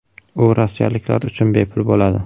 U rossiyaliklar uchun bepul bo‘ladi.